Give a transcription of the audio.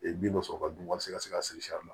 bin dɔ sɔrɔ ka dun wa sisan ka se ka siri